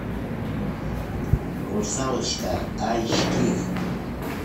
русалочка айч ди